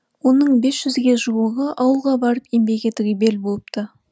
оның бес жүзге жуығы ауылға барып еңбек етуге бел буыпты